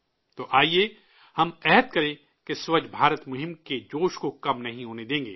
تو آئیے، ہم عہد کریں کہ سووچھ بھارت ابھیان کے جوشش کو کم نہیں ہونے دیں گے